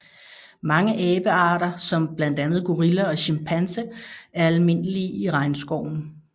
Mange abearter som blandt andet gorilla og chimpanse er almindelige i regnskoven